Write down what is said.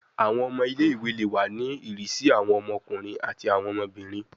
Awọn ọmọ ile-iwe le wa ni irisi awọn ọmọkunrin ati awọn ọmọbirin